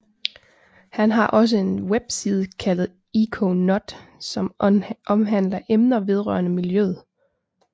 Han har også en webside kaldet ecoNOT som omhandler emner vedrørende miljøet